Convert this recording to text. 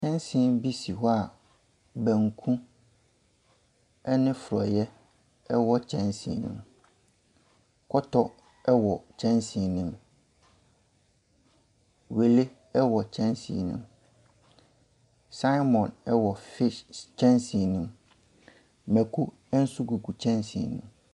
Kyɛnsee bi si hɔ a banku ne forɔeɛ wɔ kyɛnsee no mu. Kɔtɔ wɔ kyɛnsee no mu. Wele wɔ kyɛnsee no mu. Salmon wɔ fish s kyɛnsee no mu. Mako no nso gugu kyɛnsee no mu.